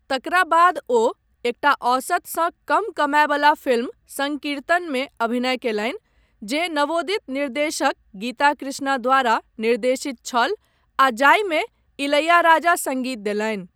तकरा बाद ओ एकटा औसतसँ कम कमायवला फिल्म 'संकीर्तन' मे अभिनय कयलनि जे नवोदित निर्देशक गीता कृष्णा द्वारा निर्देशित छल आ जाहिमे इलैयाराजा सङ्गीत देलनि।